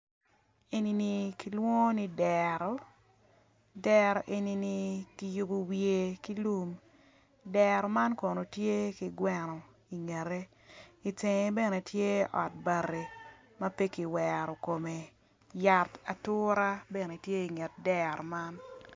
Enini kilwongo ni dero dero enini kiyubo wiye ki lum dero man kono tye ki gweno ingette itenge bene tye ot bati ma pe kiwero kome yat atura bene tye inget dero man.